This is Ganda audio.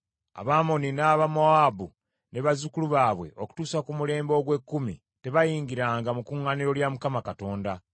“Abamoni n’Abamowaabu ne bazzukulu baabwe okutuusa ku mulembe ogw’ekkumi tebayingiranga mu kuŋŋaaniro lya Mukama Katonda.